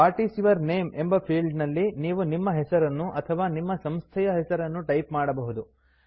what is your name ಎಂಬ field ನಲ್ಲಿ ನೀವು ನಿಮ್ಮ ಹೆಸರನ್ನು ಅಥವಾ ನಿಮ್ಮ ಸಂಸ್ಥೆಯ ಹೆಸರನ್ನು ಟೈಪ್ ಮಾಡಬಹುದು